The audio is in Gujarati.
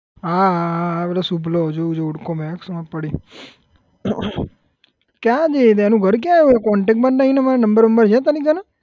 હા હા હા પેલો શુભલો ઓળખું એને હવે ખબર પડી ક્યાં છે એ એનું ઘર ક્યાં આવ્યું contact માં નહિ અમારે number બંમ્બર છે તારી કને?